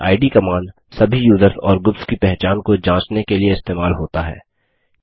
इद - command सभी users और groups की पहचान को जाँचने के लिए इस्तेमाल होता है